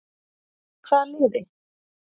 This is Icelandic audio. Með hvaða liði?